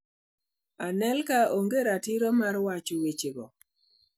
Anelka onge gi ratiro mar wacho wechego".